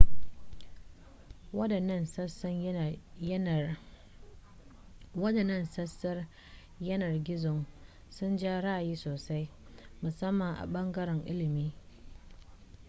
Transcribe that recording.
waɗannan sassan yanar gizon sun ja ra'ayi sosai musamman a ɓangaren ilimi